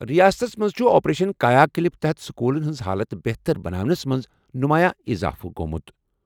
رِیاستَس منٛز چھُ 'آپریشن کایا کلپ' تحت سکوٗلَن ہٕنٛز حالت بہتر بناونس منٛز نمایاں اضافہٕ گوٚمُت۔